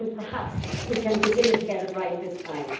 Perhaps we can begin to get it right this time.